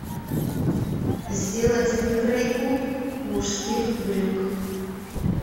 сделать выкройку мужских брюк